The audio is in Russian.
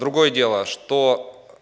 другое дело что